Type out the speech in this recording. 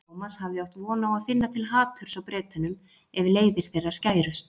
Thomas hafði átt von á að finna til haturs á Bretunum ef leiðir þeirra skærust.